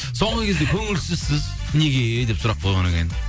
соңғы кезде көңілсізсіз неге деп сұрақ қойған екен